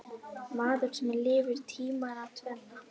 Maður sem lifði tímana tvenna.